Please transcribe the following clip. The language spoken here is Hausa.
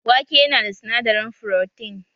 Wake yana da sinadarin frotin